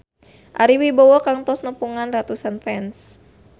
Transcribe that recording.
Ari Wibowo kantos nepungan ratusan fans